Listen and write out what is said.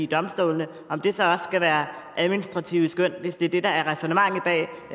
domstolene skal være administrative skøn hvis det er det der er ræsonnementet bag